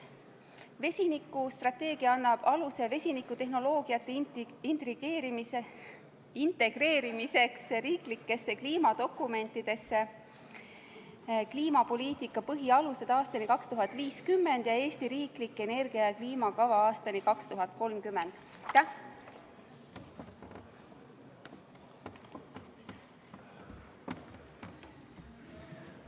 Vesinikustrateegia annab aluse vesinikutehnoloogiate integreerimiseks riiklikesse kliimadokumentidesse, nagu „Kliimapoliitika põhialused aastani 2050“ ja ja „Eesti riiklik energia- ja kliimakava aastani 2030“ Aitäh!